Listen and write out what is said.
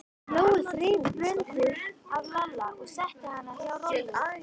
Jói þreif Bröndu af Lalla og setti hana hjá Rolu.